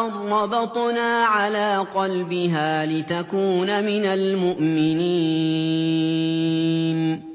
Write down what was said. أَن رَّبَطْنَا عَلَىٰ قَلْبِهَا لِتَكُونَ مِنَ الْمُؤْمِنِينَ